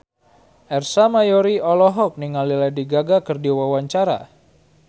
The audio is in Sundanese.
Ersa Mayori olohok ningali Lady Gaga keur diwawancara